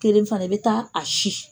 Kelen fana i bɛ ta a a si.